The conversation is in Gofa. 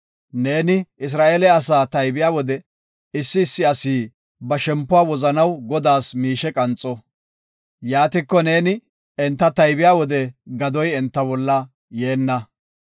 “Neeni Isra7eele asaa taybiya wode, issi issi asi ba shempuwa wozanaw Godaas miishe qanxo. Yaatiko neeni enta taybiya wode gadoy enta bolla yeenna.